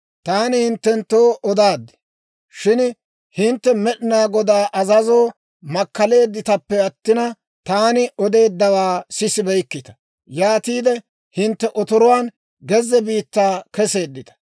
Taani hinttenttoo odaad; shin hintte Med'inaa Godaa azazoo makkaleedditappe attina, taani odeeddawaa sisibeykkita; yaatiide hintte otoruwaan gezze biittaa keseeddita.